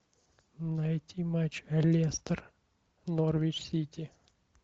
найти матч лестер норвич сити